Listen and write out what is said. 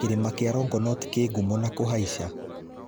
Kĩrĩma kĩa Longonot kĩ ngumo na kũhaica.